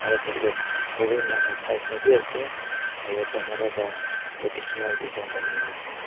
aru tate horing la matha ekta bi ase aru chamara pra traditional design banaina ase.